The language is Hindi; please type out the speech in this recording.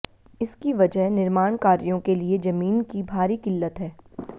इसकी वजह निर्माण कार्यों के लिए जमीन की भारी किल्लत है